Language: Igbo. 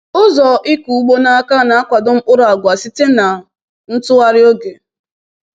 “Ụzọ ịkụ ugbo n’aka na-akwado mkpụrụ agwa site na ntughari oge.”